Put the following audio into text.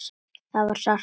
Það var sárt.